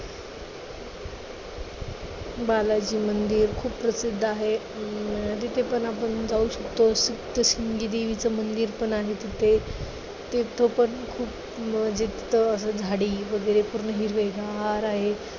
बालाजी मंदिर खूप प्रसिद्ध आहे. अं तिथे पण आपण जाऊ शकतो. सप्तशृंगी देवीचं मंदिर पण आहे तिथे. तिथं पण खूप झाडी वगैरे पूर्ण हिरवेगार आहे.